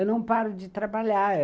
Eu não paro de trabalhar.